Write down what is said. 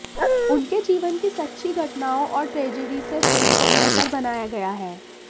उनके जीवन की सच्ची घटनाओं और ट्रेजडी से फिल्म को बेहतर बनाया गया है